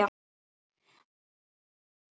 Æ, láttu ekki svona Sibbi